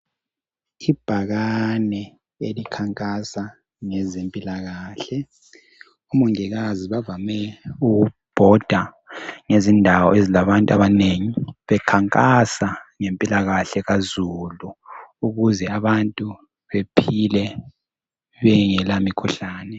Ibhakane elikhankasa ngezempilakahle, omongikazi bavame ukubhoda ngezindawo ezilabantu abanengi bekhankasa ngempilakahle kazulu ukuze abantu bephile bengela mikhuhlane.